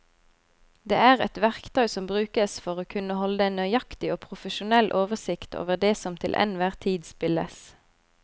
Det er et verktøy som brukes for å kunne holde en nøyaktig og profesjonell oversikt over det som til enhver tid spilles.